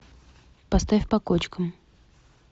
поставь по кочкам